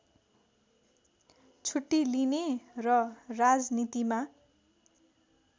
छुट्टी लिने र राजनीतिमा